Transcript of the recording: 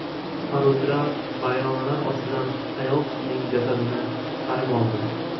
Qutqaruvchilar vayronalar ostidan ayol kishining jasadini chiqarib oldi.